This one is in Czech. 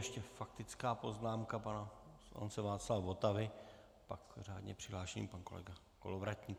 Ještě faktická poznámka pana poslance Václava Votavy, pak řádně přihlášený pan kolega Kolovratník.